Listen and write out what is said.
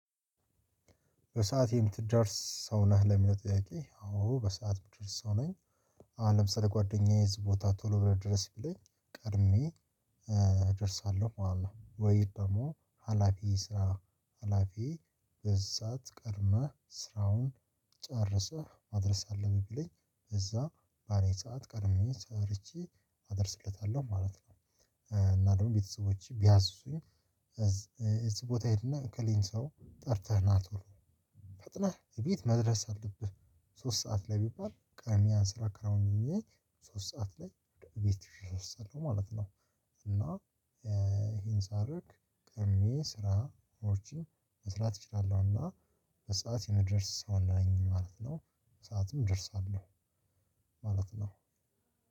በሰአት የምትደርስ ሰው ነህ ለሚመጥቂ አዎ በሰአት የምትደርስ ሰው ነኝ አሁንም ስለ ጓደኛዬ ቦታ ቶሎ ብለው ድረስ ቢለኝ ቀድሜ እደርሳለሁ ማለት ነው ወይ ደግሞ ሀላፊ ስራ ሀላፊ በዛህ ሰዓት ቀድመህ ስራውን ጨርሰህ ማድረስ አለብህ ብለኝ እዛ ባለኝ ሰዓት ቀድሜ ሰርቼ አደርስለታለሁ ማለት ነው። እና ደግሞ ቤተሰቦቼ ቢያዝዙኝ እዚህ ቦታ ሄድና እከሌን ሰው ጠርተህ ና ትወሎ ፈጥነህ ቤት መድረስ አለብህ ሶስት ሰዓት ላይ ቢባል ቅድሚያ ስራ አከናውኘ ሶስት ሰዓት ላይ ወደ ቤት እደርሳለሁ ማለት ነው እና ይሄን ሳደርግ ቀድሜ ስራዎችን መስራት እችላለሁና በሰአት የምደርስ ሰው ነኝ ማለት ነው። በሰአትም እደርሳለሁ ማለት ነው።